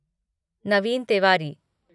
Naveen Tiwari